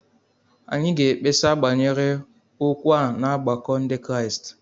Anyị ga-ekpesa banyere okwu a n'ọgbakọ Ndị Kraịst